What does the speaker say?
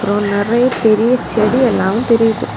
அப்புறம் நறைய பெரிய செடி எல்லாம் தெரியுது.